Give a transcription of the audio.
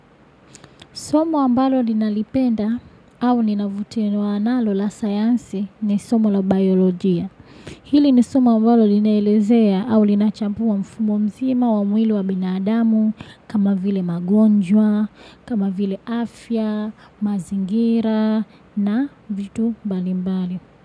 Somo ambalo linalipenda au nina vutiwa nalo la sayansi ni somo la biolojia. Hili ni somo ambalo ninaelezea au linachampua mfumo mzima wa mwili wa binadamu kama vile magonjwa, kama vile afya, mazingira na vitu balimbali.